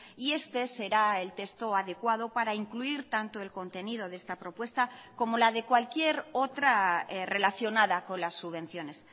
y este será el texto adecuado para incluir tanto el contenido de esta propuesta como la de cualquier otra relacionada con las subvenciones